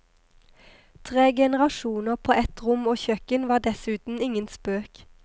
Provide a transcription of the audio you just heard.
Tre generasjoner på ett rom og kjøkken var dessuten ingen spøk.